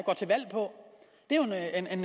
en